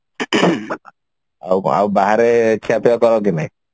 ଆଉ କଣ ଆଉ ବାହାରେ ଖିଅପିଆ କର କି ନାଇଁ